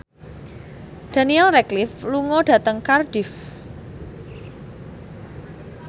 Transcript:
Daniel Radcliffe lunga dhateng Cardiff